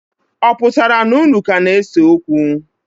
Ọ pụtara na unu ka ga-ese okwu?